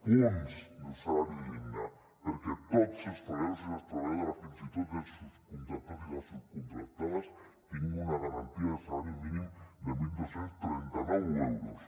punts d’un salari digne perquè tots els treballadors i les treballadores fins i tot els subcontractats i les subcontractades tinguin una garantia de salari mínim de dotze trenta nou euros